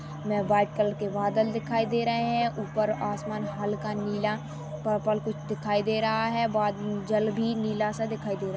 में white colour के बादल दिखाई दे रहै हैं ऊपर आसमान हल्का नीला पर्पल कुछ दिखाई दे रहा है बात जल भी नीला-सा दिखाई दे रहा--